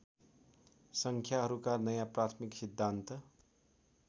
सङ्ख्याहरूका नयाँ प्राथमिक सिद्धान्त